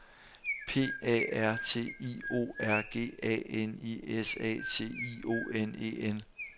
P A R T I O R G A N I S A T I O N E N